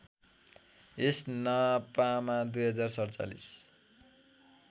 यस नपामा २०४७